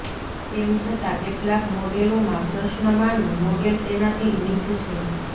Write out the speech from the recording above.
તેમ છતાં કેટલાક મોડેલોમાં પ્રશ્નમાંનું મોડેલ તેનાથી નીચું છે